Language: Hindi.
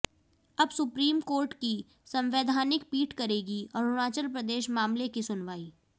अब सुप्रीम कोर्ट की संवैधानिक पीठ करेगी अरुणाचल प्रदेश मामले की सुनवाई